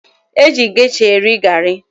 E ji gesha eri garị